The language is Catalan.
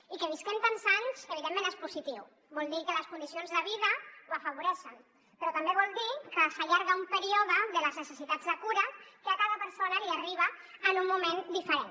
i que visquem tants anys evidentment és positiu vol dir que les condicions de vida ho afavoreixen però també vol dir que s’allarga un període de les necessitats de cura que a cada persona li arriba en un moment diferent